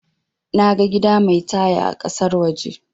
Naga gida mai taya a kasar waje